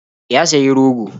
Ya sayi rogo.